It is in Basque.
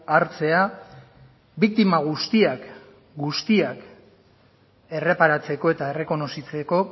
hartzea biktima guztiak guztiak erreparatzeko eta errekonozitzeko